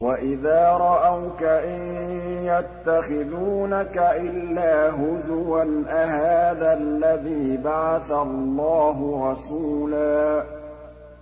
وَإِذَا رَأَوْكَ إِن يَتَّخِذُونَكَ إِلَّا هُزُوًا أَهَٰذَا الَّذِي بَعَثَ اللَّهُ رَسُولًا